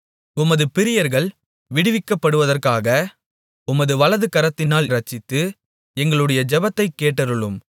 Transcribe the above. உமது பிரியர்கள் விடுவிக்கப்படுவதற்காக உமது வலதுகரத்தினால் இரட்சித்து எங்களுடைய ஜெபத்தைக் கேட்டருளும்